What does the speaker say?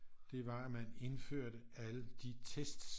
Det var at man indførte alle de tests